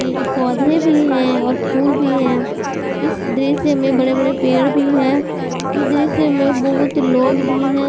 ये पौधे भी है और फूल भी है इस दृश्य मे बड़े बड़े पेड़ भी है इस दृश्य मे बहुत लोग भी हैं।